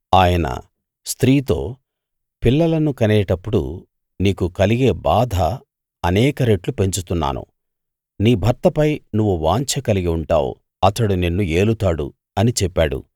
ఆయన స్త్రీతో పిల్లలను కనేటప్పుడు నీకు కలిగే బాధ అనేక రెట్లు పెంచుతున్నాను నీ భర్తపై నువ్వు వాంఛ కలిగి ఉంటావు అతడు నిన్ను ఏలుతాడు అని చెప్పాడు